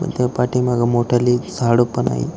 व त्या पाठीमागे मोठाली झाड पण आहेत.